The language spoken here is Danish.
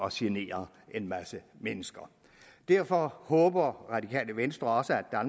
at genere en masse mennesker derfor håber det radikale venstre også at